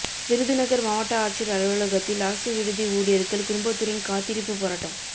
விருதுநகர் மாவட்ட ஆட்சியர் அலுவலகத்தில் அரசு விடுதி ஊழியர்கள் குடும்பத்துடன் காத்திருப்புப் போராட்டம்